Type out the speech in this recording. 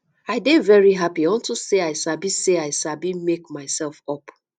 i dey very happy unto say i sabi say i sabi make myself up